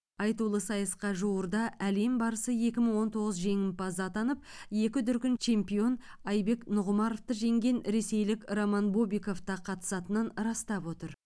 айтулы сайысқа жуырда әлем барысы екі мың он тоғыз жеңімпазы атанып екі дүркін чемпион айбек нұғымаровты жеңген ресейлік роман бобиков та қатысатынын растап отыр